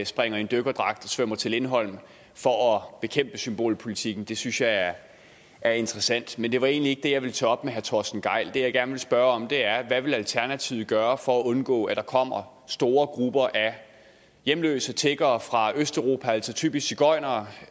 springer i en dykkerdragt og svømmer til lindholm for at bekæmpe symbolpolitikken det synes jeg er er interessant men det var egentlig ikke det jeg ville tage op med herre torsten gejl det jeg gerne vil spørge om er hvad vil alternativet gøre for at undgå at der kommer store grupper af hjemløse og tiggere fra østeuropa altså typisk sigøjnere